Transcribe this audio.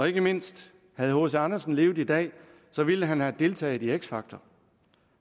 ikke mindst havde hc andersen levet i dag ville han have deltaget i x factor